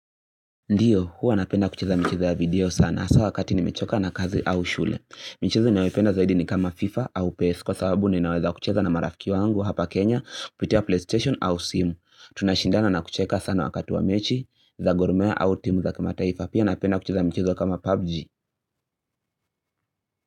Ndio, huwa napenda kucheza mchezo ya video sana. Aswa wakati nimechoka na kazi au shule. Mchezo ninayopenda zaidi ni kama FIFA au PS. Kwa sababu ninaweza kucheza na marafiki wangu hapa Kenya, kupitia PlayStation au simu. Tunashindana na kucheka sana wakati wa mechi, za gourmet au timu za kimataaifa. Pia napenda kucheza mchizo kama PUBG.